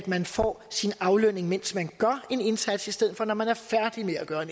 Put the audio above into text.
man får sin aflønning mens man gør en indsats i stedet for når man er færdig med at gøre